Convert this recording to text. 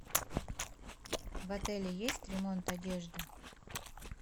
в отеле есть ремонт одежды